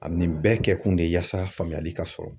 A bi nin bɛɛ kɛkun de ye yasa faamuyali ka sɔrɔ